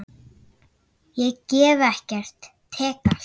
Ég gef ekkert, tek allt.